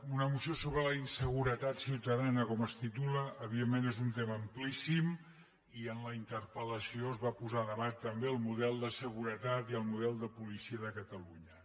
una moció sobre la inseguretat ciutadana com es titula evidentment és un tema amplíssim i en la interpel·el model de seguretat i el model de policia de catalunya